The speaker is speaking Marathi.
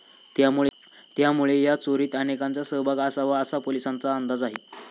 त्यामुळे या चोरीत अनेकांंचा सहभाग असाव असा पोलिसांचा अंदाज आहे.